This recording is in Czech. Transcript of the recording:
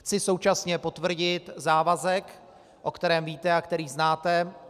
Chci současně potvrdit závazek, o kterém víte a který znáte.